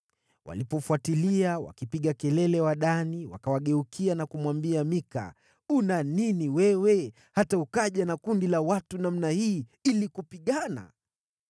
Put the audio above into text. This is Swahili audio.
Walipofuatilia wakipiga kelele Wadani wakawageukia na kumwambia Mika, “Una nini wewe hata ukaja na kundi la watu namna hii ili kupigana?”